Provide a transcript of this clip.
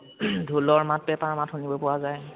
ঢোলৰ মাত পেঁপাৰ মাত শুনিব পোৱা যায়